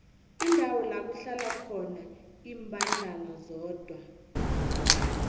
indawo lakuhlala khona imbandana zodwa